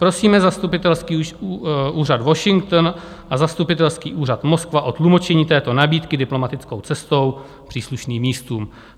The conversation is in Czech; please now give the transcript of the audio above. Prosíme zastupitelský úřad Washington a zastupitelský úřad Moskva o tlumočení této nabídky diplomatickou cestou příslušným místům.